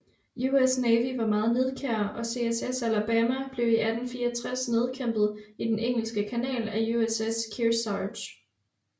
US Navy var meget nidkær og CSS Alabama blev i 1864 nedkæmpet i den Engelske Kanal af USS Kearsarge